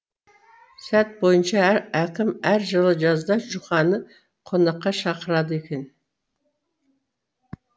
салт бойынша әкім әр жылы жазда жұқаны қонаққа шақырады екен